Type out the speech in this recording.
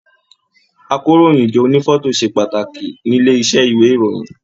Àkòróyinjọ́ ònífọ̀tò ṣe pàtàkì nílé iṣẹ ìwé ìròyìn.